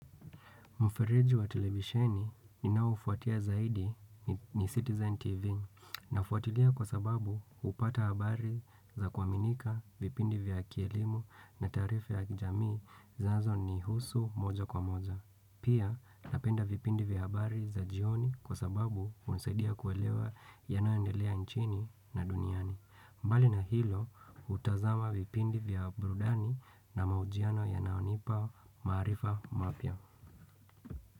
Mufiriju wa televisheni ninaoufuatia zaidi ni Citizen TV na ufuatilia kwa sababu upata habari za kuaminika vipindi vya kielimu na tarifi ya kijamii zanzo ni husu moja kwa moja. Pia napenda vipindi vya habari za jioni kwa sababu hunisaidia kuelewa yanayoendelea nchini na duniani. Mbali na hilo utazama vipindi vya burudani na maujiano ya naonipa marifa mapya.